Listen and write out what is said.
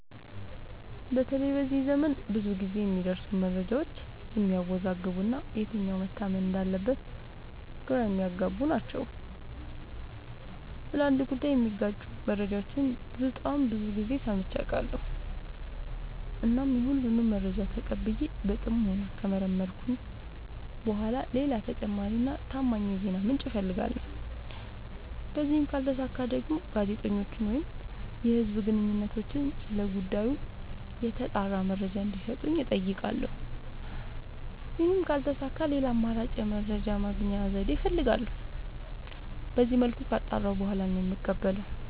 በተለይ በዚህ ዘመን ብዙ ግዜ የሚደርሱን መረጃዎች የሚያዎዛግቡ እና የትኛው መታመን እንዳለበት ግራ የሚያገቡ ናቸው። ስለ አንድ ጉዳይ የሚጋጩ መረጃዎችን በጣም ብዙ ግዜ ሰምቼ አውቃለሁ። እናም የሁሉንም መረጃ ተቀብዬ በጥሞና ከመረመርኩኝ በኋላ ሌላ ተጨማሪ እና ታማኝ የዜና ምንጭ አፈልጋለሁ። በዚህም ካልተሳካ ደግሞ ጋዜጠኞችን ወይም የህዝብ ግንኙነቶችን ስለ ጉዳዩ የተጣራ መረጃ እንዲ ሰጡኝ አጠይቃለሁ። ይህም ካልተሳካ ሌላ አማራጭ የመረጃ የማግኛ ዘዴ እፈልጋለሁ። በዚመልኩ ካጣራሁ በኋላ ነው የምቀበለው።